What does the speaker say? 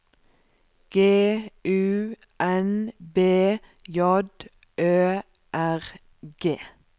G U N B J Ø R G